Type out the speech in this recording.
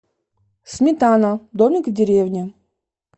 сметана домик в деревне